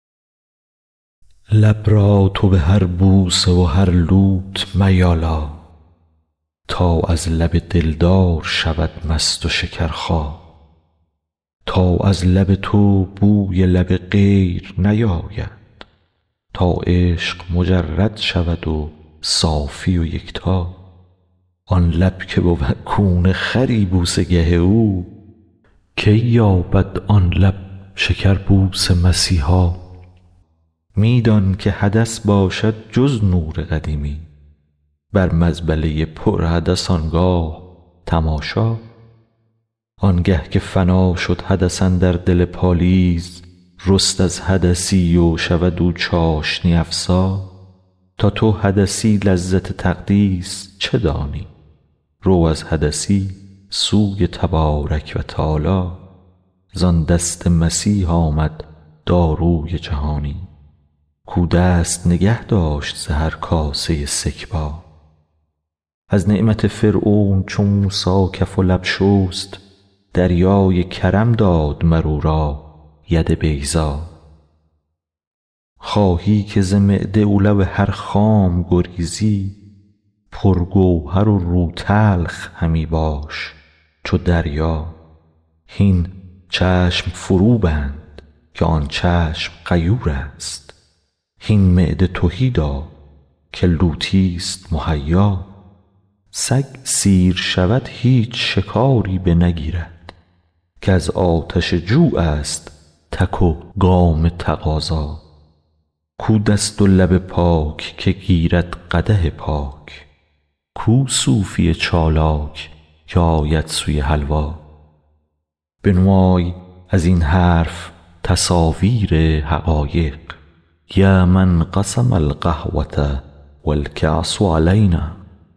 لب را تو به هر بوسه و هر لوت میالا تا از لب دلدار شود مست و شکرخا تا از لب تو بوی لب غیر نیاید تا عشق مجرد شود و صافی و یکتا آن لب که بود کون خری بوسه گه او کی یابد آن لب شکر بوس مسیحا می دان که حدث باشد جز نور قدیمی بر مزبله ی پر حدث آن گاه تماشا آنگه که فنا شد حدث اندر دل پالیز رست از حدثی و شود او چاشنی افزا تا تو حدثی لذت تقدیس چه دانی رو از حدثی سوی تبارک و تعالی زان دست مسیح آمد داروی جهانی کاو دست نگه داشت ز هر کاسه سکبا از نعمت فرعون چو موسی کف و لب شست دریای کرم داد مر او را ید بیضا خواهی که ز معده و لب هر خام گریزی پرگوهر و روتلخ همی باش چو دریا هین چشم فروبند که آن چشم غیورست هین معده تهی دار که لوتی ست مهیا سگ سیر شود هیچ شکاری بنگیرد کز آتش جوعست تک و گام تقاضا کو دست و لب پاک که گیرد قدح پاک کو صوفی چالاک که آید سوی حلوا بنمای از این حرف تصاویر حقایق یا من قسم القهوة و الکأس علینا